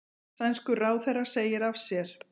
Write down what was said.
Sænskur ráðherra segir af sér